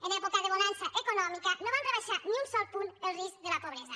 en època de bonança econòmica no van rebaixar ni un sol punt el risc de la pobresa